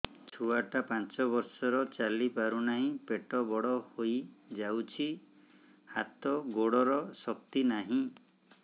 ଛୁଆଟା ପାଞ୍ଚ ବର୍ଷର ଚାଲି ପାରୁନାହଁ ପେଟ ବଡ ହୋଇ ଯାଉଛି ହାତ ଗୋଡ଼ର ଶକ୍ତି ନାହିଁ